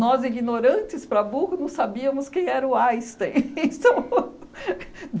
Nós, ignorantes, para burro, não sabíamos quem era o Einstein